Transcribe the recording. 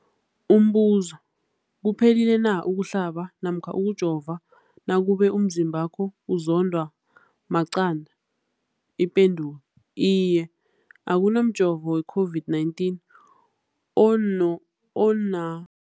Umbuzo, kuphephile na ukuhlaba namkha ukujova nakube umzimbakho uzondwa maqanda. Ipendulo, iye. Akuna mjovo weCOVID-19 ono ona